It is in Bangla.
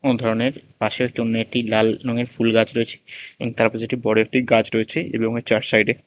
অনেক ধরনের পাশে একটি অন্য একটি লাল নঙের ফুলগাছ রয়েছে এবং তার পাশে একটি বড়ো একটি গাছ রয়েছে এবং এর চার সাইডে--